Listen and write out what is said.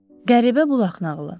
Qəribə bulaq nağılı.